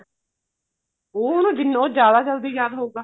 ਉਹ ਉਹਨੂੰ ਜਿੰਨਾ ਜਿਆਦਾ ਜਲਦੀ ਯਾਦ ਹੋਊਗਾ